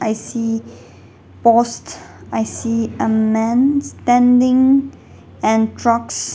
i see post i see a man standing and trucks.